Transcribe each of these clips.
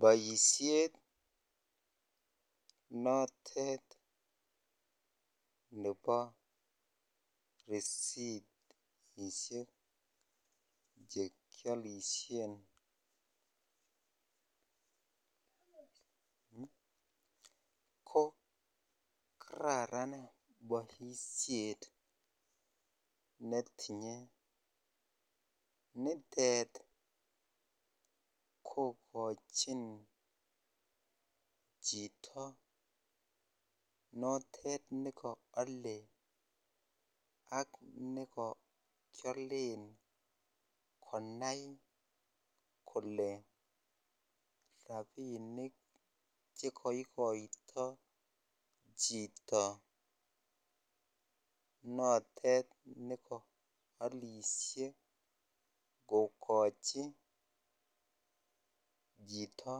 Boisiet notet nebo risitisiek chekiolishen ko kararan boisiet netinye nitet kokochin chito notet neko ale ak neko kialen konai kole rapinik chekoikoito chito notet neko alishe kokochi chito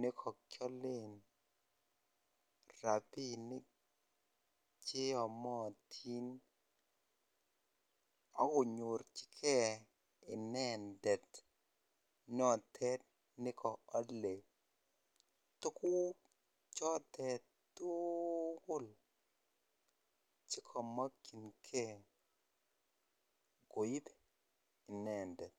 nekokyolen rapinik cheyomotin akonyorchike inendet notet nekoale tuguk chotet tuugul chekomokyingee koip inendet.